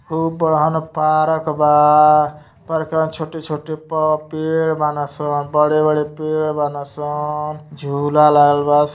खूब बड़हन पारक बा। पर्कवा में छोटे छोटे पौ पेड़ बाने सब बड़े बड़े पेड़ बाने सब झुला लागल बा|